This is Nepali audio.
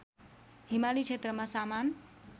हिमाली क्षेत्रमा सामान